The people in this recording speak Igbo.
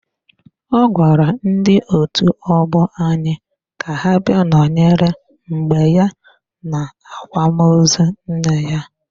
Ọ gwara ndị otu ọgbọ anyị ka ha bịa nọnyere m mgbe ya n'akwamozu nne ya